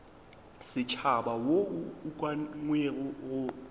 setšhaba wo o ukangwego mo